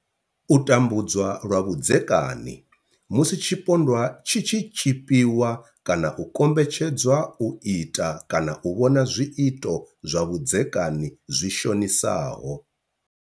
U tambudzwa lwa vhudzeka ni, Musi tshipondwa tshi tshi tshipiwa kana u kombetshedzwa u ita kana u vhona zwiito zwa vhudzekani zwi shonisaho.